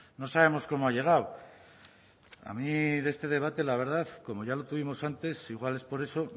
no sabemos cómo ha llegado a mí este debate la verdad como ya lo tuvimos antes igual es por eso